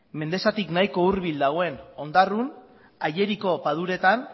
mendexatik bahiko hurbil dagoen ondarrun ageriko paduretan